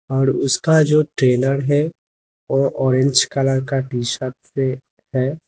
और उसका जो ट्रेनर है वह ऑरेंज कलर का टी शर्ट पे है।